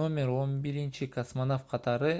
№11 космонавт катары